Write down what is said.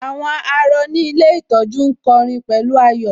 Àwọn àárọ̀ ní ilé ìtọ́jú ń kọ'rin pẹ̀lú ayọ̀